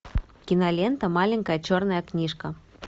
кинолента маленькая черная книжка